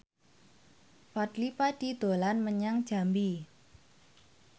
Fadly Padi dolan menyang Jambi